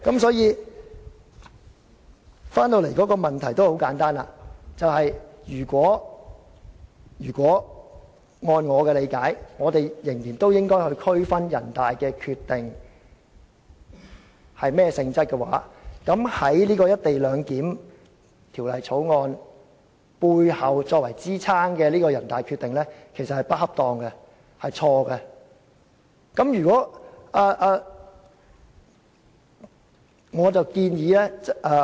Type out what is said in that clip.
所以，我們回到現在的問題，其實很簡單，如果按照我的理解，我們仍然應該區分這項人大常委會決定屬於甚麼性質，在《條例草案》背後支撐的這項人大常委會決定是不恰當的，是錯誤的。